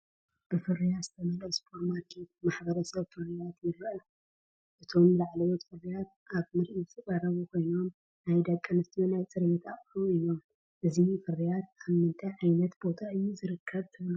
ብፍርያት ዝተመልአ ሱፐርማርኬት ንማሕበረሰብ ፍርያት ይርአ። እቶም ላዕለዎት ፍርያት ኣብ ምርኢት ዝቐርቡ ኮይኖም፡ ናይ ደቂ ኣንስትዮ ናይ ፅሬት ኣቑሑት እዩ፡፡ እዚ ፍርያት ኣብ ምንታይ ዓይነት ቦታ እዩ ዝርከብ ትብሉ?